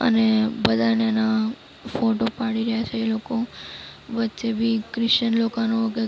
અને બધાને એના ફોટો પાડી રયા છે એ લોકો વચ્ચે બી ક્રિસ્ટિયન લોકોનું કંઈક --